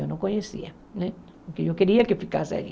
Eu não conhecia, né porque eu queria que ficasse ali.